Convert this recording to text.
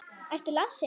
Ertu lasin?